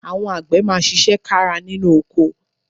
Àwọn àgbẹ̀ máa ṣiṣẹ́ kára nínú oko